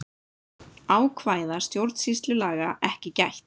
Ákvæða stjórnsýslulaga ekki gætt